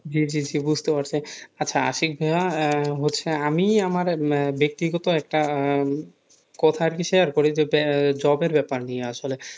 জি জি জি বুঝতে পারছি আচ্ছা আশিক ভাইয়া হচ্ছে আমি আমার ব্যক্তিগত একটা কথা আরকি share করি job এর ব্যাপার নিয়ে আসলে,